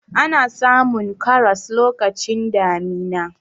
ana samun karas lokacin damina